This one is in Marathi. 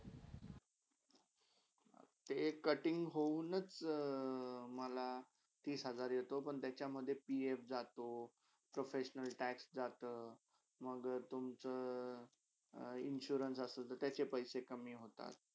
ते cutting होंनच मला तीस हजार येतो पण त्याच्यामधे PF जातो professional tax जाता मंग तुमचा insurance असले तर त्याचे पैशे कमी होतात.